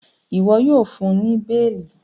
iwọ yíò fún ní beeli!